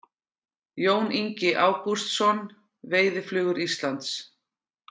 Jón Ingi Ágústsson, Veiðiflugur Íslands.